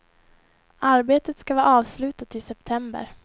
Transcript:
Arbetet ska vara avslutat i september.